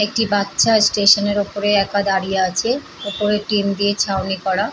একটি বাচ্চা স্টেশনের উপরে একা দাঁড়িয়ে আছে। উপরে টিন দিয়ে ছাউনি করা।